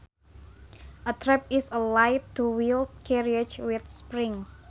A trap is a light two wheeled carriage with springs